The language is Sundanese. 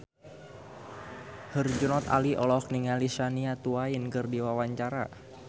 Herjunot Ali olohok ningali Shania Twain keur diwawancara